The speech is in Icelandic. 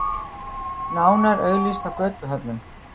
Nánar auglýst á götuhornum.